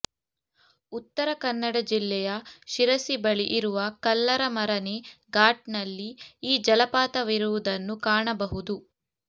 ಉತ್ತರ ಕನ್ನಡ ಜಿಲ್ಲೆಯ ಶಿರಸಿ ಬಳಿ ಇರುವ ಕಲ್ಲರಮರನೆ ಘಾಟ್ ನಲ್ಲಿ ಈ ಜಲಪಾತವಿರುವುದನ್ನು ಕಾಣಬಹುದು